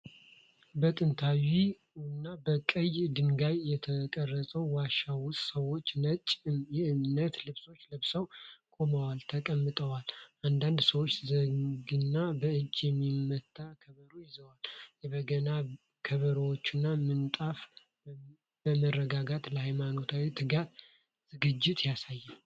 በጥንታዊና በቀይ ድንጋይ በተቀረጸ ዋሻ ውስጥ ሰዎች ነጭ የእምነት ልብሶች ለብሰው ቆመዋል፤ ተቀምጠዋል። አንዳንድ ሰዎች ዘንግና በእጅ የሚመታ ከበሮ ይዘዋል። የበገና ከበሮዎችና ምንጣፍ በመረጋጋት ለሃይማኖታዊ ትጋት ዝግጅት ያሳያሉ።